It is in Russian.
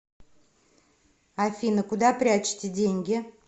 афина куда прячете деньги